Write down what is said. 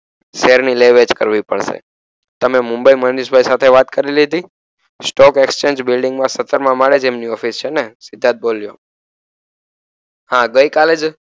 share ની લે વેચ કરવી પડસે તમે મુંબઈ મનીષભાઈ સાથે વાત કરી લીધી stock exchange building મા સતરમા માળેજએમની ઓફિસ છેને સિદ્ધાર્થ બોલ્યો હા ગઇકાલેજ